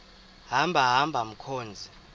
hamba hamba mkhozi